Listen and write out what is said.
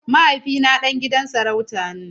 Mahaifina ɗan gidan sarauta ne.